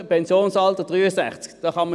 40-Stunden-Woche, Pensionsalter 63.